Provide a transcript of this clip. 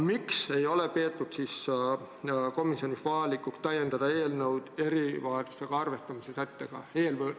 Miks ei ole komisjonis peetud vajalikuks täiendada eelnõu erivajadusega inimesega arvestamise sättega?